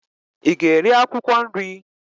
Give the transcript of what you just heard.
Ị ga-eri akwụkwọ nri?